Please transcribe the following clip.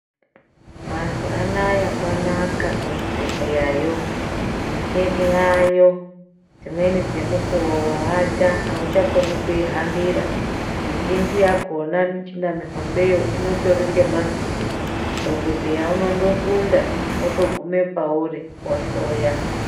Mazuva anaya kwanaka kuzvibhedhleyayo micheni yayo. Dzimweni dzemukuvo vaata auchakoni kuihambira mizhinji yakona michina mihombeyo inotori ngemavhiri, dhogodheya unondosunda otogume pauri ohloya.